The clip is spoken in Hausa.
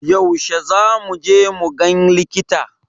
Yaushe za mu je mu gan likita?